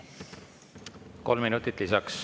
Kolm minutit lisaks.